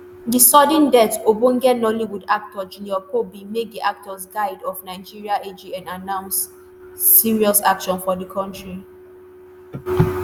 di sudden death ogbonge nollywood actor junior pope bin make di actors guild of nigeria (agn) announce serious actions for di industry.